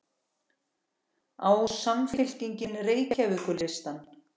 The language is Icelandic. Á Samfylkingin Reykjavíkurlistann?